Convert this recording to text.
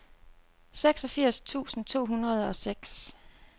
seksogfirs tusind to hundrede og seks